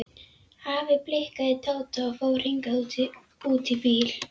Afi blikkaði Tóta og fór hikandi út í bíl.